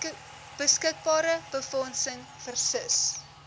beskikbare befondsing versus